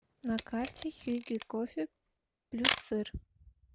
на карте хюгге кофе плюссыр